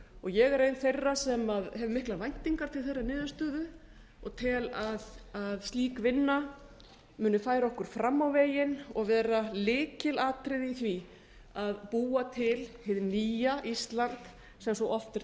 ég er ein þeirra sem hef miklar væntingar til þeirrar niðurstöðu og tel að slík vinna muni færa okkur fram á veginn og vera lykilatriði í því að búa til hið nýja ísland sem svo oft er